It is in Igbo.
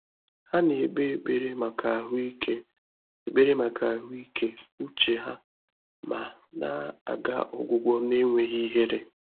Há nà-ékpé ékpèré màkà àhụ́ị́ké ékpèré màkà àhụ́ị́ké úchè há mà nà-àgà ọgwụ́gwọ́ n’énwéghị́ íhérè.